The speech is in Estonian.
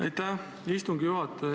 Aitäh, istungi juhataja!